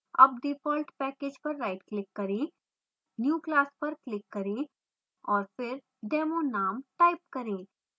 अब default package पर rightclick करें new> class पर click करें और फिर demo name type करें